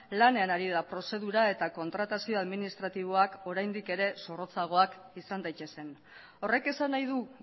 lanean ari da prozedura eta kontratazio administratiboak oraindik ere zorrotzagoak izan daitezen horrek esan nahi du